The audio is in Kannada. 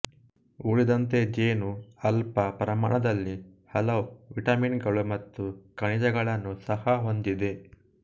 ಉಳಿದಂತೆ ಜೇನು ಅಲ್ಪ ಪ್ರಮಾಣದಲ್ಲಿ ಹಲವು ವಿಟಮಿನ್ ಗಳು ಮತ್ತು ಖನಿಜಗಳನ್ನು ಸಹ ಹೊಂದಿದೆ